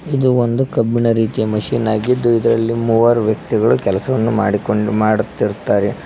ಇದು ಒಂದು ಕಬ್ಬಿಣ ರೀತಿಯ ಮಷೀನ್ ಆಗಿದ್ದು ಇದರಲ್ಲಿ ಮೂವರ ವ್ಯಕ್ತಿಗಳು ಕೆಲಸವನು ಮಾಡಿಕೊಂಡಿ ಮಾಡುತಿರುತ್ತಾರೆ.